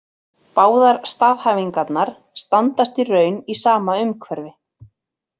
Báðar staðhæfingarnar standast í raun í sama umhverfi.